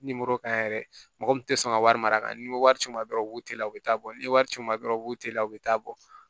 ka yɛrɛ mɔgɔ min tɛ sɔn ka wari mara ka nimoro c'i ma dɔrɔn u b'o teliya u bɛ taa bɔ ni wari ci o ma dɔrɔn u b'o teliya o bɛ taa bɔ